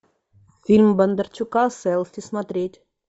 фильм бондарчука селфи смотреть